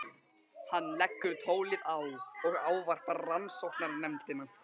Hann leggur tólið á og ávarpar rannsóknarnefndina.